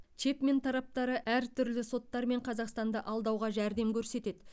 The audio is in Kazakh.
чэпмен тараптары әртүрлі соттар мен қазақстанды алдауға жәрдем көрсетеді